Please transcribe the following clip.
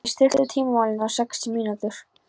Thea, stilltu tímamælinn á sextíu mínútur.